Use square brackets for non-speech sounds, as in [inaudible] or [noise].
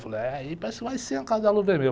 Falei, aí parece que vai ser uma Casa de [unintelligible] Vermelho.